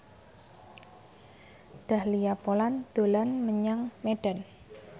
Dahlia Poland dolan menyang Medan